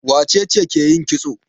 Wace ce ke yin kitso?